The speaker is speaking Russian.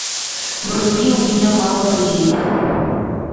вруби у меня мало друзей